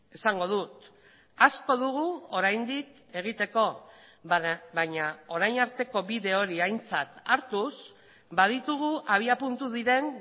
esango dut asko dugu oraindik egiteko baina orain arteko bide hori aintzat hartuz baditugu abiapuntu diren